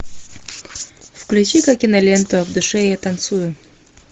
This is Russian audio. включи ка киноленту в душе я танцую